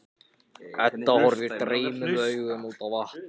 Edda horfir dreymnum augum út á vatnið.